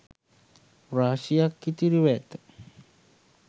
රාශියක් ඉතිරිව ඇත